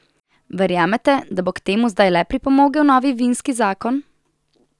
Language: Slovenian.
Verjamete, da bo k temu zdaj le pripomogel novi vinski zakon?